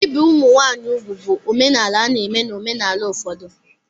Ibi ụmụ nwanyị úgwù bụ omenala a na-eme na omenala ụfọdụ.